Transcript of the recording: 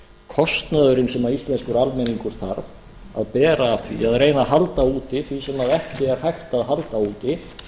kostnaðurinn sem íslenskur almenningur þarf að bera af því að halda úti því sem ekki er hægt að halda úti